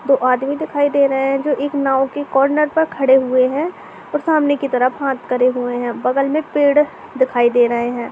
दो आदमी दिखाई दे रहे हैं जो एक नाव के कॉर्नर पर खड़े हुए हैं और सामने की तरफ हाथ करे हुए हैं। बगल में पेड़ दिखाई दे रहे हैं।